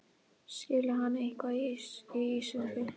Skilur hann eitthvað í íslensku?